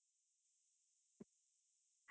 .